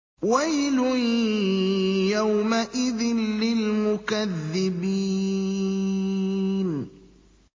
وَيْلٌ يَوْمَئِذٍ لِّلْمُكَذِّبِينَ